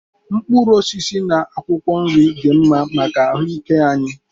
Mkpụrụ osisi na akwụkwọ nri dị mma maka ahụ ike anyị.